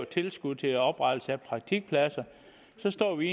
tilskud til oprettelse af praktikpladser så står vi